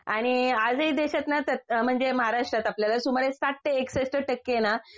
आणि आजही देशातना त्यात म्हणजे महाराष्ट्रात आपल्याला सुमारे साठ ते एकसष्ठ टक्के ना